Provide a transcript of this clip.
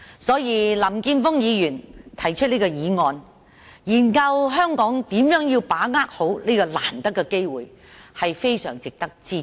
所以，林健鋒議員提出這項議案，研究香港如何好好把握這個難得的機會，是非常值得支持的。